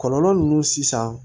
Kɔlɔlɔ ninnu sisan